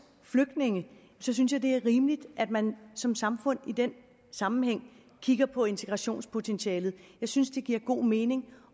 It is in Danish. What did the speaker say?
flygtninge synes jeg det er rimeligt at man som samfund i den sammenhæng kigger på integrationspotentialet jeg synes det giver god mening